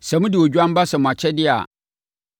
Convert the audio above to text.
Sɛ mode odwan ba sɛ mo akyɛdeɛ a,